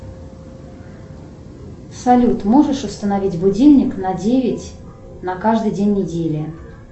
салют можешь установить будильник на девять на каждый день недели